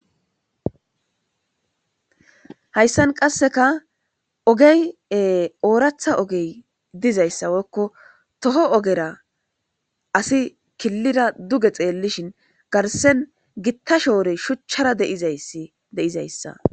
hayssan qasseka ogey ooratha ogey dizayssawoykko toho ogera asi killida duge xeellishin garsen gitta shoorey shuchchara de7izayssa